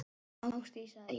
Ásdís, sagði ég.